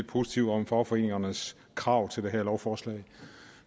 positivt om fagforeningernes krav til det her lovforslag